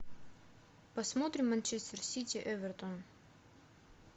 посмотрим манчестер сити эвертон